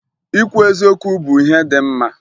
Ikwu eziokwu bụ ihe dị mma